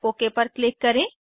okay पर click करें